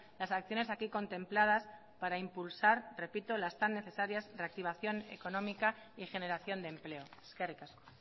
las acciones aquí contempladas para impulsar repito las tan necesarias reactivación económica y generación de empleo eskerrik asko